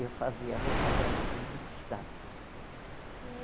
Eu fazia a roupa dela também de destaque. E